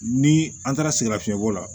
Ni an taara sɛgɛnnafiɲɛbɔ la